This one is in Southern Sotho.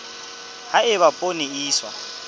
ha eba poone e iswa